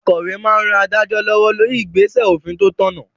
Akòwé máa n ran adájọ́ lọ́wọ́ lórí igbesẹ òfin tó tọ̀nà